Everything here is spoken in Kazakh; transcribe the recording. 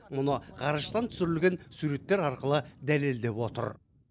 мұны ғарыштан түсірілген суреттер арқылы дәлелдеп отыр